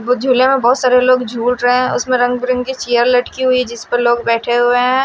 वे झूले में बहुत सारे लोग झूल रहे हैं उसमें रंग बिरंगी चेयर लटकी हुई है जिस पर लोग बैठे हुए हैं।